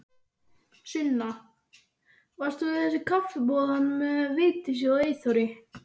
Sunna: Varst þú í þessu kaffiboði hérna með Vigdísi og Eyþóri?